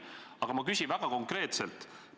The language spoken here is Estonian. Aga ma küsin väga konkreetselt.